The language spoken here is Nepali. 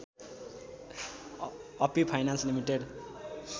Api finance limited